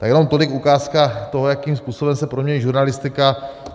Tak jenom tolik ukázka toho, jakým způsobem se proměňuje žurnalistika.